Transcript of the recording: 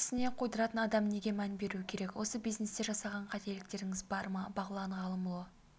тісіне қойдыратын адам неге мән беруі керек осы бизнесте жасаған қателіктеріңіз бар ма бағлан ғалымұлы